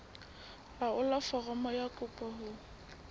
laolla foromo ya kopo ho